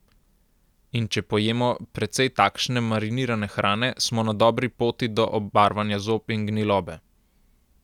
In če pojemo precej takšne marinirane hrane, smo na dobri poti do obarvanja zob in gnilobe.